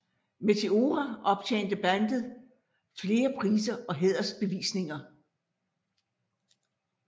Meteora optjente bandet flere priser og hædersbevisninger